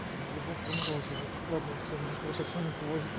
его поморозит ладно все мы короче соннику восемь